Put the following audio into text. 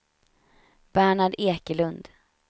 Bernhard Ekelund